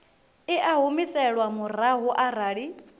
i a humiselwa murahu arali